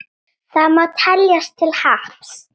Það má teljast til happs.